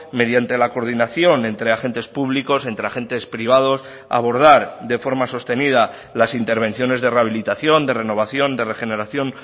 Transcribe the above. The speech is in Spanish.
mediante la coordinación entre agentes públicos entre agentes privados abordar de forma sostenida las intervenciones de rehabilitación de renovación de regeneración